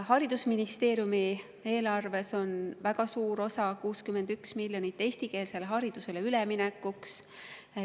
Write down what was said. Haridusministeeriumi eelarves on väga suur osa, 61 miljonit, eestikeelsele haridusele üleminekuks.